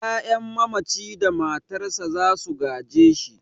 'Ya'yan mamaci da matarsa za su gaje shi.